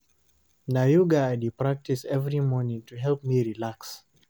Na yoga I dey practice every morning to help me relax.